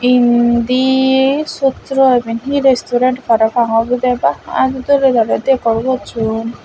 indi sutro iben hi resturen parapang obodey baa aa doley daley dekor gosson.